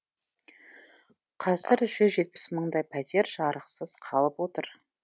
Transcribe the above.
қазір жүз жетпіс мыңдай пәтер жарықсыз қалып отыр